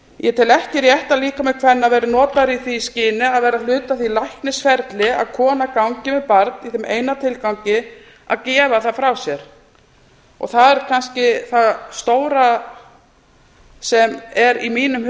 ég tel ekki rétt að líkami kvenna verði notaður í því skyni að vera hluti af því læknisferli að kona gangi með barn í þeim eina tilgangi með barn í þeim eina tilgangi að gefa það frá sér það er kannski það stóra sem er í mínum